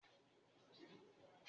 Lọ bámi gbé àgé mi wá